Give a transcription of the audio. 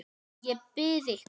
Ég bið ykkur!